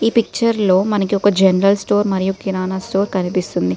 ఈ పిక్చర్ లో మనకి ఒక జెనరల్ స్టోర్ మరియు కిరాణా స్టోర్ కనిపిస్తుంది .